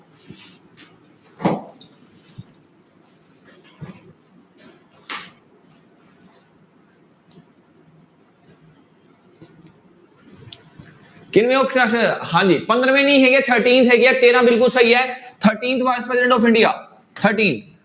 ਕਿੰਨਵੇਂ ਹਾਂਜੀ ਪੰਦਰਵੀਂ ਨੇ ਹੈਗੇ thirteen ਹੈਗੇ ਆ ਤੇਰਾਂ ਬਿਲਕੁਲ ਸਹੀ ਹੈ thirteenth vice president of India thirteen